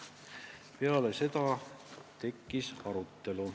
Peale seda tekkis arutelu.